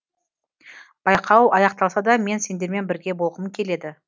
байқау аяқталса да мен сендермен бірге болғым келеді